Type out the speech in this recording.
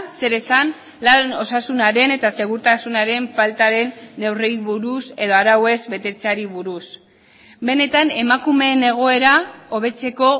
zer esan lan osasunaren eta segurtasunaren faltaren neurriei buruz edo arauez betetzeari buruz benetan emakumeen egoera hobetzeko